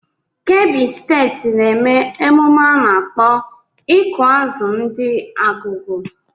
Kebbi steeti na-eme emume a nakpọ ịkụ azụ ndi Argungu.